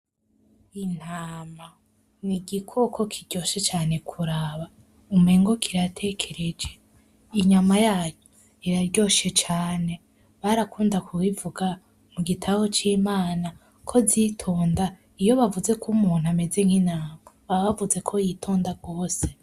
Intama n'igikoko kiryoshe cane kuraba umengo kiratekereje inyama yayo iraryoshe cane barakunda ku bivuga mu gitabo c'Imana ko zitonda iyo bavuze ko umuntu ameze nk'intama baba bavuze ko yitonda gose.